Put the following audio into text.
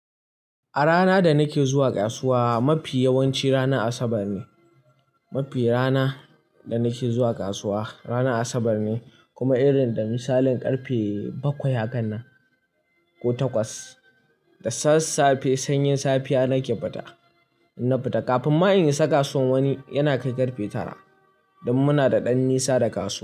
A rana da nake zuwa kasuwa mafi yawanci rana Asabar ne. Mafi rana da nake zuwa kasuwa rana Asabar ne kuma irin da misalin karfe bakwai a kan nan ko takwas. Da sassafe sanyin safiya nake fita. Na fita kafin ma in isa kasuwan wani yana kai karfe tara. Dan muna da ɗan nisa da kasuwa.